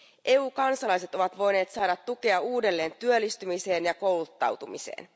EUn kansalaiset ovat voineet saada tukea uudelleen työllistymiseen ja kouluttautumiseen.